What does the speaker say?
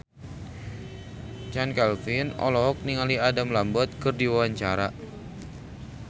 Chand Kelvin olohok ningali Adam Lambert keur diwawancara